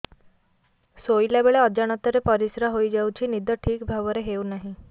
ଶୋଇଲା ବେଳେ ଅଜାଣତରେ ପରିସ୍ରା ହୋଇଯାଉଛି ନିଦ ଠିକ ଭାବରେ ହେଉ ନାହିଁ